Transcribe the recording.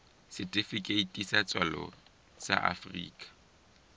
setifikeiti sa tswalo sa afrika